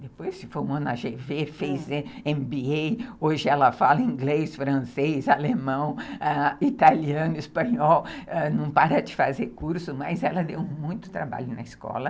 Depois se formou na gê vê, fez eme bê ei, hoje ela fala inglês, francês, alemão, italiano, espanhol, não para de fazer curso, mas ela deu muito trabalho na escola.